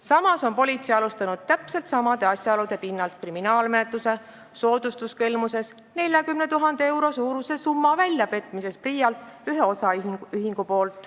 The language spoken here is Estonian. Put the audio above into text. Samas on politsei alustanud täpselt samade asjaolude pinnalt kriminaalmenetlust soodustuskelmuse asjas ühe osaühingu vastu 40 000 euro suuruse summa PRIA-lt väljapetmise tõttu.